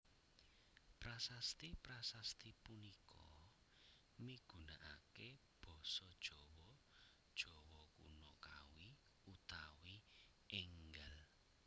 Prasasti prasasti punika migunakaké basa Jawa Jawa Kuna Kawi utawi énggal